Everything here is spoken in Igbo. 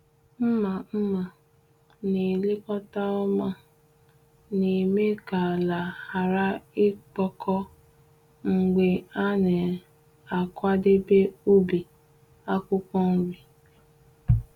Mma mma a na-elekọta ọma na-eme ka ala ghara ịkpọkọ mgbe a na-akwadebe ubi akwukwo nri.